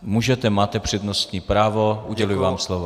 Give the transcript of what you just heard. Můžete, máte přednostní právo, uděluji vám slovo.